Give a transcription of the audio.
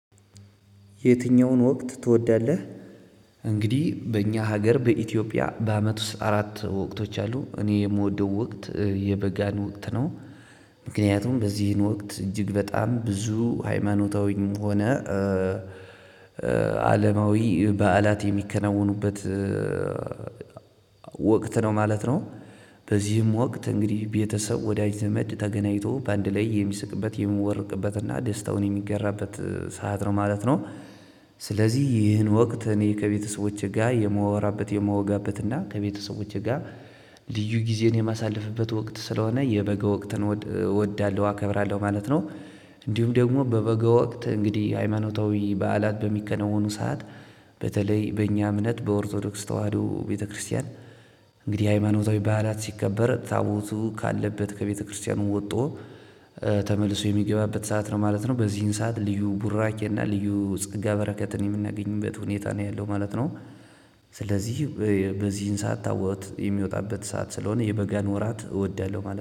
የትኛውን ወቅት ትወዳለህ? እንግዲህ በእኛ ሀገር በኢትዮጵያ በአመት ውስጥ አራት ወቅቶች አሉ እኔ የምወደው ወቅት የበጋን ወቅት ነው። ምክንያቱም በዚህን ወቅት እጅግ በጣም ብዙ ሃይማኖታዊም ሆነ አለማዊ በዓላት የሚከናወኑበት ወቅት ነው ማለት ነው። በዚህም ወቅት እንግዲህ ቤተሰብ ወዳጅ ዘመድ ተገናኝቶ በአንድ ላይ የሚስቅበት የሚቦርቅበት እና ደስታውን የሚገራበት ሰዓት ነው ማለት ነው። ስለዚህ ይህን ወቅት እኔ ከቤተሰቦቼ ጋር የማወራበት የማወጋበት እና ከቤተሰቦቼ ጋር ልዩ ጊዜን የማሳልፍበት ወቅት ስለሆነ የበጋ ወቅትን እወዳለሁ አከብራለሁ ማለት ነው። እንዲሁም ደግሞ በበጋ ወቅት እንግዲህ ሃይማኖታዊ በዓላት በሚከነወኑ ሰዓት በተለይ በእኛ እምነት በኦርቶዶክስ ተዋህዶ ቤተክርስቲያን። እንግዲህ ሃይማኖታዊ በዓላት ሲከበር ታቦቱ ካለበት ከቤተክርስቲያኑ ወጥቶ ተመልሶ የሚገባበት ሰዓት ነው ማለት ነው። በዚህን ሰዓት ልዩ ቡራኬ እና ልዩ ፀጋ በረከትን የምናገኝበት ሁኔታ ነው ያለው ማለት ነው። ስለዚህ በዚህን ሰዓት ታቦት የሚወጣበት ሰዓት ስለሆነ የበገን ወራት እወዳለሁ ማለት ነው